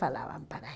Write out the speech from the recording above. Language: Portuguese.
Falavam para